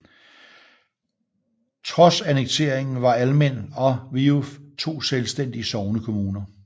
Trods annekteringen var Almind og Viuf to selvstændige sognekommuner